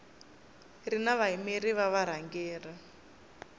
ri na vayimeri va varhangeri